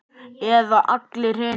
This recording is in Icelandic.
Eða allar hinar?